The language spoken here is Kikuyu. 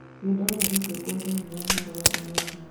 Nĩ ndona kĩbungo thĩĩni wa marũa ũmũthĩ